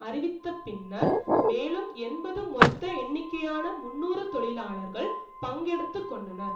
அறிவித்தபின்னர் மேலும் எண்பது மொத்த எண்ணிக்கையான முன்னூறு தொழிலாளர்கள் பங்கெடுத்து கொண்டனர்